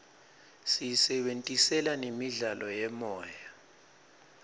siyisebentisela nemidlalo yemoya